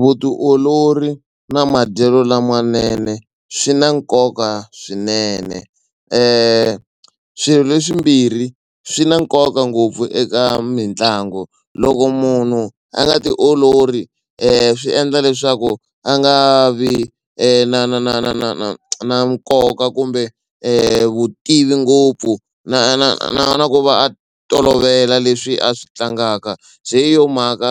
Vutiolori na madyelo lamanene swi na nkoka swinene swilo leswimbirhi swi na nkoka ngopfu eka mitlangu. Loko munhu a nga tiololi swi endla leswaku a nga vi na na na na na na na nkoka kumbe vutivi ngopfu na na na na ku va a tolovela leswi a swi tlangaka se hi yo mhaka